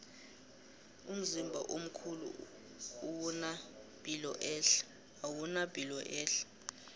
umzimba omkhulu owuna piloehle